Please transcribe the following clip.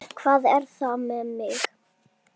Hvað er þetta með mig?